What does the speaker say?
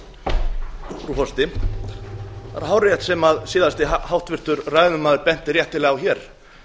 það er hárrétt sem síðasti háttvirtur ræðumaður benti réttilega á hér